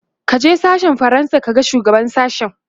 kaje sashen fransa ka ga shugaban sashen!